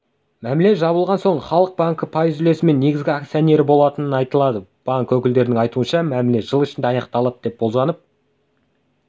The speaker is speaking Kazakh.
мәміле жабылған соң халық банкі пайыз үлесімен негізгі акционері болатыны айтылады банк өкілдерінің айтуынша мәміле жыл ішінде аяқталады деп болжанып